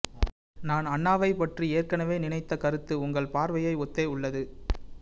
நான் அண்ணாவைப்பற்றி ஏற்கனவே நினைத்த கருத்து உங்கள் பார்வையை ஒத்தே உள்ளது